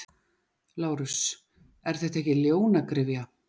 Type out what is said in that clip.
LÁRUS: Er þetta ekki ljónagryfja?